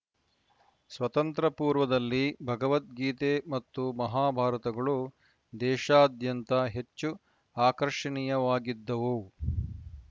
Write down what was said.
ಸ್ವತಂತ್ರ ಪೂರ್ವದಲ್ಲಿ ಭಗವದ್ಗೀತೆ ಮತ್ತು ಮಹಾಭಾರತಗಳು ದೇಶಾದ್ಯಂತ ಹೆಚ್ಚು ಆಕರ್ಷಣೀಯವಾಗಿದ್ದವು